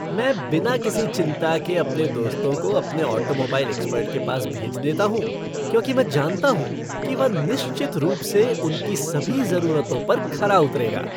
मैं बिना किसी चिंता के अपने दोस्तों को अपने ऑटोमोबाइल एक्सपर्ट के पास भेज देता हूँ क्योंकि मैं जानता हूँ कि वह निश्चित रूप से उनकी सभी ज़रूरतों पर खरा उतरेगा।